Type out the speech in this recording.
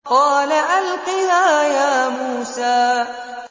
قَالَ أَلْقِهَا يَا مُوسَىٰ